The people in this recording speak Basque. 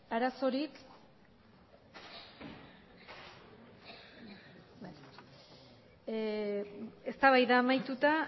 arazorik eztabaida amaituta